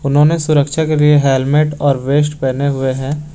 उन्होंने सुरक्षा के लिए हेलमेट और वेस्ट पहने हुए हैं।